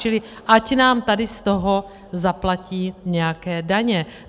Čili ať nám tady z toho zaplatí nějaké daně.